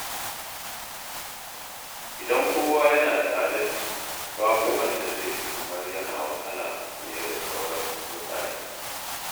Idan kowa yana da adalci, babu wanda zai ji kamar yana wahala fiye da sauran mutane.